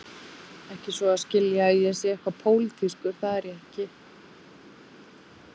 Ekki svo að skilja að ég sé eitthvað pólitískur, það er ég ekki.